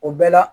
O bɛɛ la